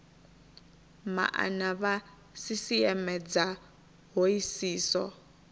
maana vha sisieme dza hoisiso